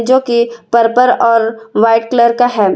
जोकि पर्पल और white colour का है।